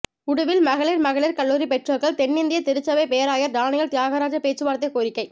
உடுவில் மகளிர் மகளிர் கல்லூரி பெற்றோர்கள் தென்னிந்திய திருச்சபை பேராயர் டானியல் தியாகராஜ பேச்சுவார்த்தை கோரிக்கை